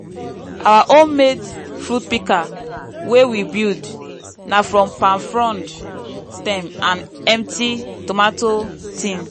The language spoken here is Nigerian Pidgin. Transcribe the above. our homemade fruit pika wey we build na from palm frond stem and empty tomato tin.